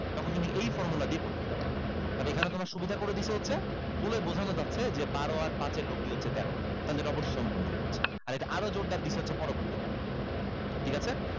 তখন তুমি এই formula দিয়ে করে ফেলতে পারতা তাহলে এখানে তোমার সুবিধা করে দিছে হচ্ছে বলে বুঝানো যাচ্ছে যে বারো আর পাঁচ এর লব্দি হচ্ছে তেরো এটা অবশ্যই সমকোণী ত্রিভুজ আর এটা আরো জোরদার দিছে হচ্ছে পরবর্তীতে ঠিক আছে